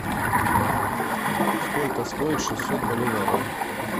сколько стоит шестьсот боливаров